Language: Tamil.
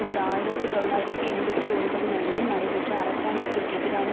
ஓர் ஆயிரத்தி தொள்ளாயிரத்து எண்பத்தி ஒன்பது நடுவில் நடைபெற்ற அரசாங்கத்திற்கெதிரான